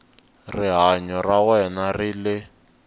rihanyo ra wena ri le